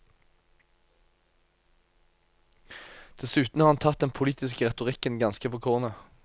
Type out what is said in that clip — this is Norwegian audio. Dessuten har han tatt den politiske retorikken ganske på kornet.